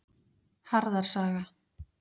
Harðar saga.